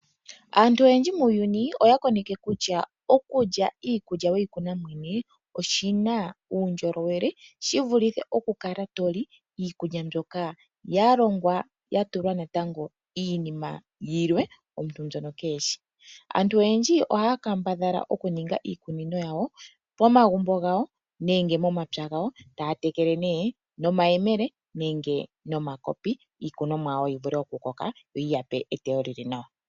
Aantu oyendji muuyuni oya koneke kutya okulya iikulya weyi kuna ngoye mwene oshina uundjolowele shi vulithe okukala toli iikulya mbyoka ya longwa ya tulwa iinima yilwe omuntu mbyono keyishi. Aantu oyendji ohaya kambadhala oku ninga iikunino yawo pomagumbo gawo nenge momapya gawo taya tekele no mayelemele nenge noma kopi iikunomwa yawo yivule oku koka yo yiyape eteyo lili nawa.